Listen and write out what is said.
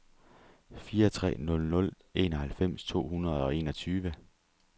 fire tre nul nul enoghalvfems to hundrede og enogtyve